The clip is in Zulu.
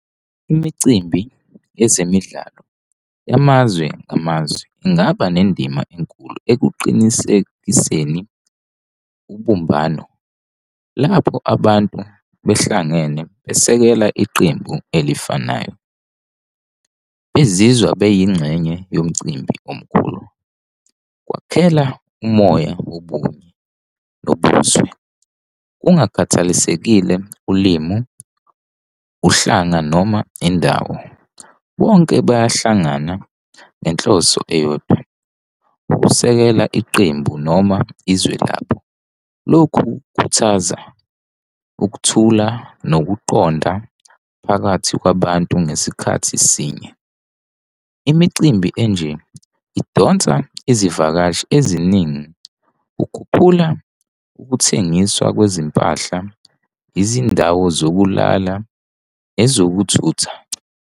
Imicimbi yezemidlalo yamazwe ngamazwe ingaba nendima enkulu ekuqinisekiseni ubumbano nalapho abantu behlangene besekela iqembu elifanayo, bezizwa beyingxenye yomcimbi omkhulu. Kwakhela umoya wobunye nobuzwe, kungakhathalisekile ulimu, uhlanga noma indawo. Bonke bayahlangana ngenhloso eyodwa, ukusekela iqembu noma izwe labo. Lokhu khuthaza ukuthula nokuqonda phakathi kwabantu ngesikhathi sinye. Imicimbi enje idonsa izivakashi eziningi, kukhuphula ukuthengiswa kwezimpahla, izindawo zokulala, ezokuthutha.